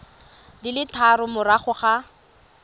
di le tharo morago ga